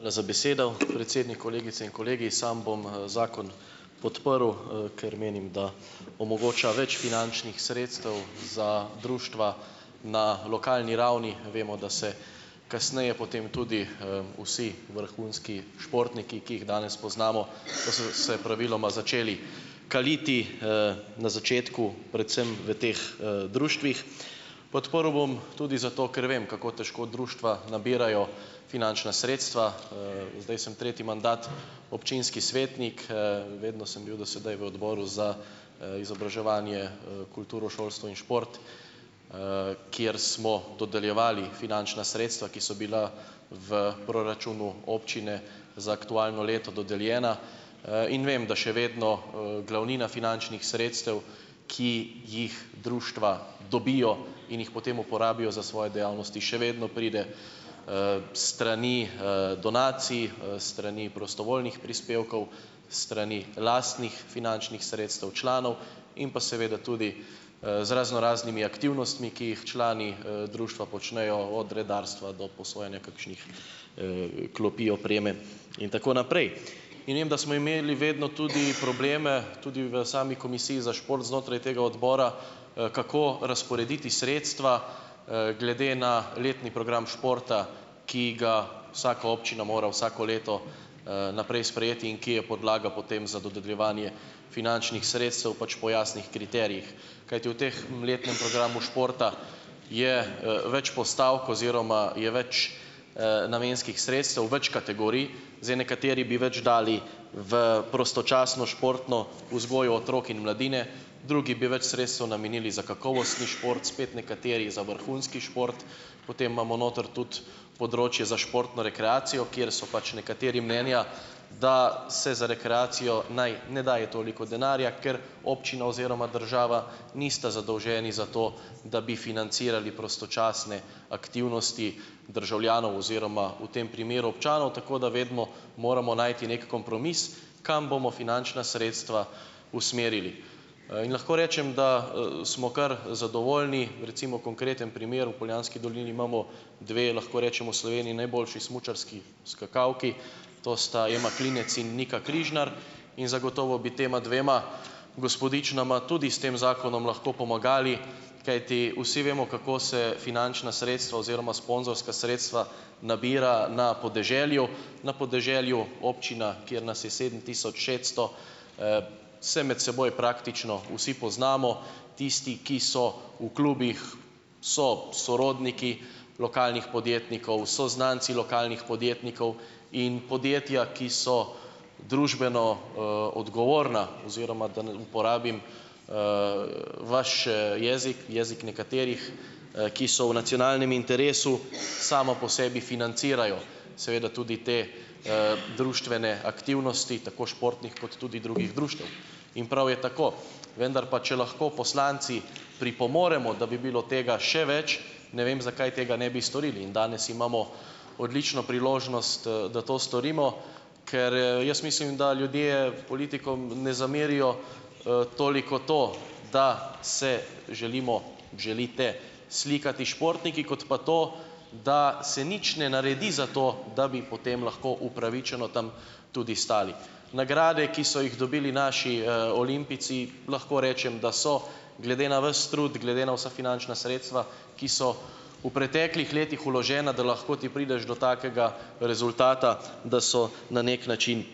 Hvala za besedo. Predsednik, kolegice in kolegi, sam bom, zakon podprl, ker menim, da omogoča več finančnih sredstev za društva na lokalni ravni. Vemo, da se kasneje potem tudi, vsi vrhunski športniki, ki jih danes poznamo, pa so se praviloma začeli kaliti, na začetku predvsem v teh, društvih. Podprl bom tudi zato, ker vem, kako težko društva nabirajo finančna sredstva, zdaj sem tretji mandat občinski svetnik, vedno sem bil do sedaj v odboru za, izobraževanje, kulturo, šolstvo in šport, kjer smo dodeljevali finančna sredstva, ki so bila v proračunu občine za aktualno leto dodeljena, in vem, da še vedno, glavnina finančnih sredstev, ki jih društva dobijo in jih potem uporabijo za svoje dejavnosti, še vedno pride, s strani, donacij, s strani prostovoljnih prispevkov, s strani lastnih finančnih sredstev članov in pa seveda tudi, z raznoraznimi aktivnostmi, ki jih člani, društva počnejo, od redarstva do posojanja kakšnih, klopi, opreme in tako naprej. In vem, da smo imeli vedno tudi probleme, tudi v sami komisiji za šport znotraj tega odbora, kako razporediti sredstva glede na letni program športa, ki ga vsaka občina mora vsako leto, naprej sprejeti in ki je podlaga potem za dodeljevanje finančnih sredstev pač po jasnih kriterijih, kajti v teh, letnem programu športa je, več postavk oziroma je več, namenskih sredstev, več kategorij. Zdaj nekateri bi več dali v prostočasno športno vzgojo otrok in mladine, drugi bi več sredstev namenili za kakovostni šport, spet nekateri za vrhunski šport, potem imamo noter tudi področje za športno rekreacijo, kjer so pač nekateri mnenja, da se za rekreacijo naj ne daje toliko denarja, ker občina oziroma država nista zadolženi za to, da bi financirali prostočasne aktivnosti državljanov oziroma v tem primeru občanov, tako da vedno moramo najti neki kompromis, kam bomo finančna sredstva usmerili. In lahko rečem, da, smo kar zadovoljni. Recimo konkreten primer, v Poljanski dolini imamo dve, lahko rečemo, v Sloveniji najboljši smučarski skakalki, to sta Ema Klinec in Nika Križnar, in zagotovo bi tema dvema gospodičnama tudi s tem zakonom lahko pomagali, kajti vsi vemo, kako se finančna sredstva oziroma sponzorska sredstva nabira na podeželju. Na podeželju občina, kjer nas je sedem tisoč šeststo, se med seboj praktično vsi poznamo, tisti, ki so v klubih, so sorodniki lokalnih podjetnikov, so znanci lokalnih podjetnikov, in podjetja, ki so družbeno, odgovorna oziroma, da ne uporabim, vaš, jezik, jezik nekaterih, ki so v nacionalnem interesu, samo po sebi financirajo, seveda tudi te, društvene aktivnosti tako športnih kot tudi drugih društev, in prav je tako. Vendar pa, če lahko poslanci pripomoremo, da bi bilo tega še več, ne vem, zakaj tega ne bi storili, in danes imamo odlično priložnost, da to storimo, ker, jaz mislim, da ljudje politikom ne zamerijo, toliko to, da se želimo, želite slikati s športniki kot pa to, da se nič ne naredi za to, da bi potem lahko upravičeno tam tudi stali. Nagrade, ki so jih dobili naši, olimpijci, lahko rečem, da so glede na vas trud glede na vsa finančna sredstva, ki so v preteklih letih vložena, da lahko ti prideš do takega rezultata, da so na neki način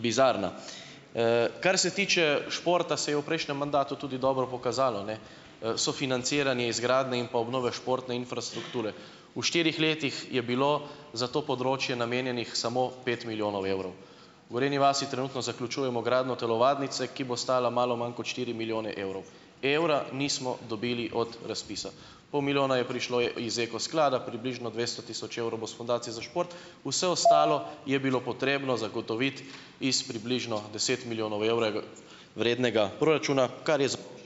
bizarna. Kar se tiče športa, se je v prejšnjem mandatu tudi dobro pokazalo ne, sofinanciranje izgradnje in pa obnove športne infrastrukture. V štirih letih je bilo za to področje namenjenih samo pet milijonov evrov. V Gorenji vasi trenutno zaključujemo gradnjo telovadnice, ki bo stala malo manj kot štiri milijone evrov. Evra nismo dobili od razpisa. Pol milijona je prišlo, iz Ekosklada, približno dvesto tisoč evrov bo s Fundacije za šport, vse ostalo je bilo potrebno zagotoviti iz približno deset milijonov vrednega proračuna, kar je ...